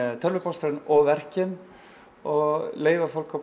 tölvupóstinn og verkin og leyfa fólki